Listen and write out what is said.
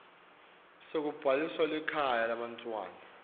sekubhalisa likhaya lebantfwana